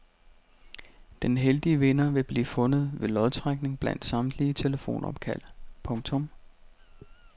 Den heldige vinder vil blive fundet ved lodtrækning blandt samtlige telefonopkald. punktum